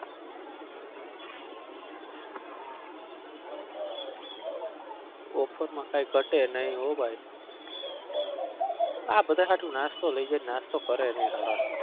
offer માં કાઈ ઘટે નઈ હો ભાઈ આ બધા હાટુ નાસ્તો લઇ જઉં નાસ્તો કરે નઈ હારા.